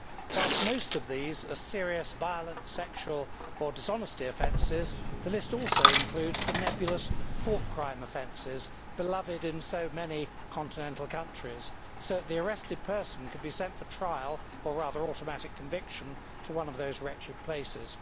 Whilst most of these are serious violent, sexual or dishonesty offences, the list also includes the nebulous thought crime offences beloved in so many continental countries, so that the arrested person could be sent for trial, or rather automatic conviction, to one of those wretched places.